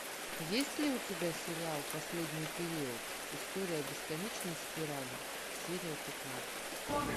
есть ли у тебя сериал последний период история бесконечной спирали серия пятнадцать